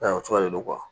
O cogoya de don